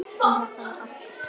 En þetta var okkar pláss.